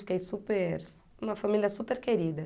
Fiquei super... Uma família super querida.